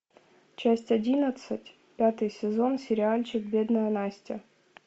часть одиннадцать пятый сезон сериальчик бедная настя